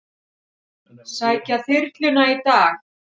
Sækja þyrluna í dag